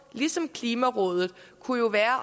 ligesom klimarådet kunne jo være